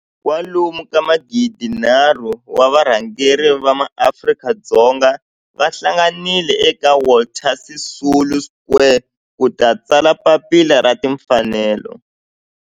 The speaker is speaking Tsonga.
kwalomu ka magidi nharhu, 3 000 wa varhangeri va maAfrika-Dzonga va hlanganile eka Walter Sisulu Square ku ta tsala Papila ra Tinfanelo.